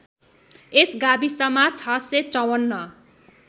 यस गाविसमा ६५४